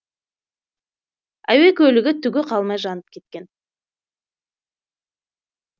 әуе көлігі түгі қалмай жанып кеткен